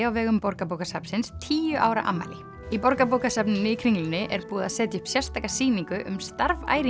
á vegum Borgarbókasafnsins tíu ára afmæli í Borgarbókasafninu í Kringlunni er búið að setja upp sérstaka sýningu um starf